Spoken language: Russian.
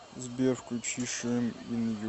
сбер включи шейм ин ю